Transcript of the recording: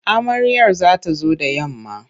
Amaryar za ta zo da yamma.